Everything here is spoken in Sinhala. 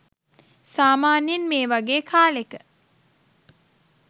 සාමාන්‍යයෙන් මේ වගේ කාලෙක